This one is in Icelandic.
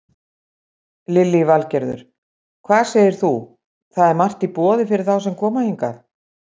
Lillý Valgerður: Hvað segir þú, það er margt í boði fyrir þá sem koma hingað?